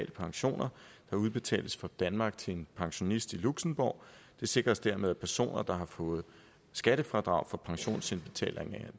pensioner der udbetales fra danmark til en pensionist i luxembourg det sikres dermed at personer der har fået skattefradrag for pensionsindbetalingerne